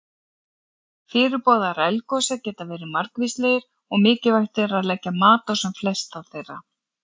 Fyrirboðar eldgosa geta verið margvíslegir og mikilvægt er að leggja mat á sem flesta þeirra.